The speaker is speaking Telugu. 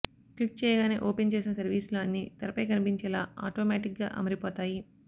క్లిక్ చేయగానే ఓపెన్ చేసిన సర్వీసులు అన్నీ తెరపై కనిపించేలా ఆటోమాటిక్గా అమరిపోతాయి